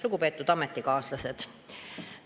Lugupeetud ametikaaslased!